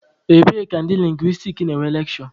Ebee ka ndị lingwistiks na-enwe lekshure?